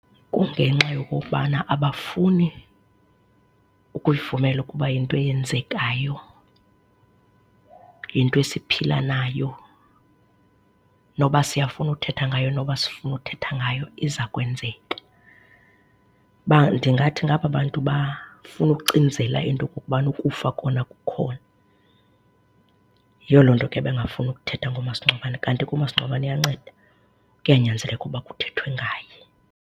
Kungenxa yokokubana abafuni ukuyivumela ukuba yinto eyenzekayo, yinto esiphila nayo noba siyafuna uthetha ngayo, noba asifuni uthetha ngayo izawukwenzeka. Ndingathi ngaba bantu bafuna ukucinzela into yokubana ukufa kona kukhona. Yiyo loo nto ke bengafuni ukuthetha ngomasingcwabane. Kanti ke umasingcwabane uyanceda, kuyanyanzeleka ukuba kuthethwe ngaye.